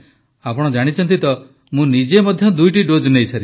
ପ୍ରଧାନମନ୍ତ୍ରୀ ଆପଣ ଜାଣିଛନ୍ତି ତ ମୁଁ ନିଜେ ମଧ୍ୟ ଦୁଇଟି ଡୋଜ ନେଇସାରିଛି